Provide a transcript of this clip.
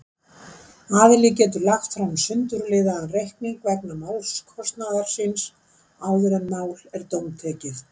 Aðili getur lagt fram sundurliðaðan reikning vegna málskostnaðar síns áður en mál er dómtekið.